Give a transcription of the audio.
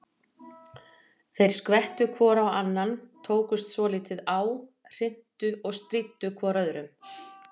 Þeir skvettu hvor á annan, tókust svolítið á, hrintu og stríddu hvor öðrum.